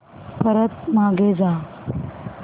परत मागे जा